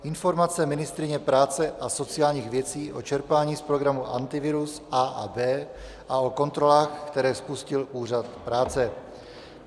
Informace ministryně práce a sociálních věcí o čerpání z programu Antivirus A a B a o kontrolách, které spustil Úřad práce